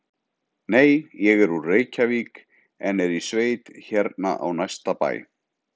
Nei, ég er úr Reykjavík en er í sveit hérna á næsta bæ.